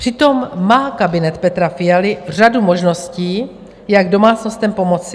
Přitom má kabinet Petra Fialy řadu možností, jak domácnostem pomoci.